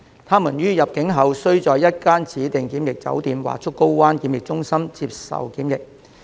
他們於入境後須在一間指定檢疫酒店或竹篙灣檢疫中心接受檢疫。